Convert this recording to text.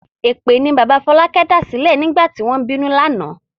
Èpè ni bàbá Fọlákẹ́ dàsílẹ̀ nígbà tí wọ́n ń bínú lánàá.